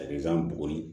Ayisan bugɔ